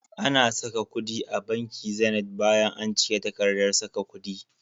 Ana saka kudi a banki Zenith bayan an cike takardar saka kudi.